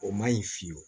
O ma ɲi fiyewu